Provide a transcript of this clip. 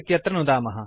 इत्यत्र नुदामः